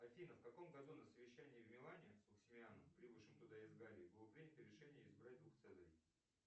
афина в каком году на совещании в милане с максимилианом прибывшем туда из галлии было принято решение избрать двух цезарей